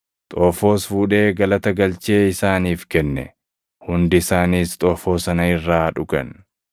Xoofoos fuudhee galata galchee isaaniif kenne; hundi isaaniis xoofoo sana irraa dhugan.